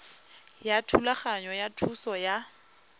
ya thulaganyo ya thuso ya